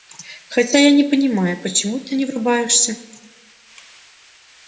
хотя я не понимаю почему ты не врубаешься